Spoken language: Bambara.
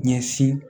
Ɲɛsin